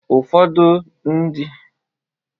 Ụfodụ n'ime ha sịrị na ha chọrọ ibu dọkịta dịka nna ha.